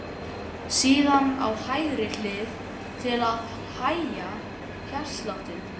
Síðan á hægri hlið til að hægja hjartsláttinn.